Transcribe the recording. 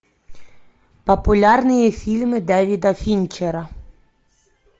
популярные фильмы дэвида финчера